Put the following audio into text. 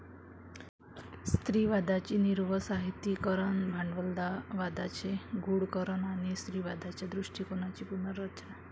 स्त्रीवादाची निर्वसाहतीकरण, 'भांडवलवादाचे गूढकरण ', आणि 'स्त्रीवादाच्या दृष्टीकोनाची पुनर्रचना '.